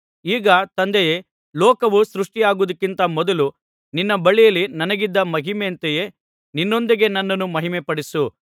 ಈಗ ತಂದೆಯೇ ಲೋಕವು ಸೃಷ್ಟಿಯಾಗುವುದಕ್ಕಿಂತ ಮೊದಲು ನಿನ್ನ ಬಳಿಯಲ್ಲಿ ನನಗಿದ್ದ ಮಹಿಮೆಯಂತೆಯೇ ನಿನ್ನೊಂದಿಗೆ ನನ್ನನ್ನು ಮಹಿಮೆಪಡಿಸು